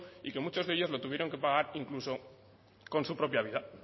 y que muchos de ellos lo tuvieron que pagar incluso con su propia vida